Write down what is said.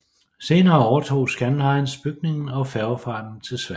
Senere overtog Scandlines bygningen og færgefarten til Sverige